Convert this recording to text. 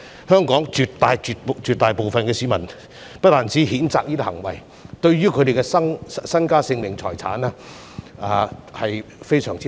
香港絕大部分市民皆譴責這些行為，並很擔心他們的身家、性命和財產。